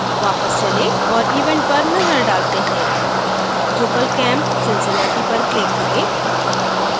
वापस चलें और event पर नजर डालते हैं drupalcamp cincinnati पर click करें